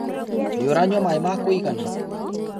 Nĩ ũranyua maĩ ma kũigana?